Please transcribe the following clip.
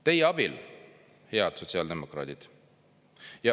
Teie abil, head sotsiaaldemokraadid.